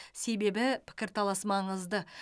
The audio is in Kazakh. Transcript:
себебі пікірталас маңызды